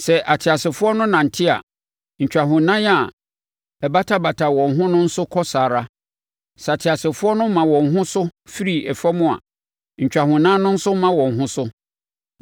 Sɛ ateasefoɔ no nante a, ntwahonan a ɛbatabata wɔn ho no nso kɔ saa ara; sɛ ateasefoɔ no ma wɔn ho so firi fam a, ntwahonan no nso ma wɔn ho so.